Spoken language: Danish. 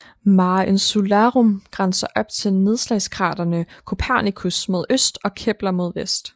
Mare Insularum grænser op til nedslagskraterne Copernicus mod øst og Kepler mod vest